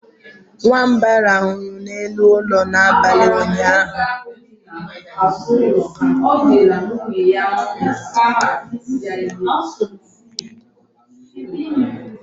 nwamba rahụrụ n'elu ụlọ n'abalị ụnyaahụ